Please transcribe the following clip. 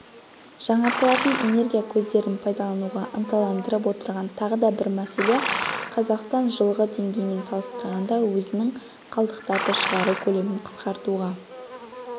жаңартылатын энергия көздерін пайдалануға ынталандырып отырған тағы да бір мәселе қазақстан жылғы деңгеймен салыстырғанда өзінің қалдықтарды шығару көлемін қысқартуға